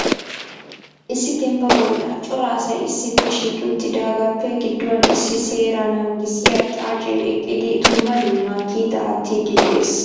issi dembba bolla coraa asay issippe shiiqi uttidaagappe gidduwan issi seera naagissiya xaacce eqqidi dumma dumma kiita aattide de'ees .